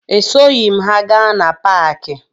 Esoghi m ha gaa na paakị